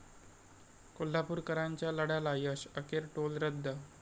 कोल्हापुरकरांच्या लढ्याला यश, अखेर टोल रद्द